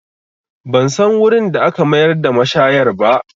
Ban san wurin da aka mayar da mashayar ba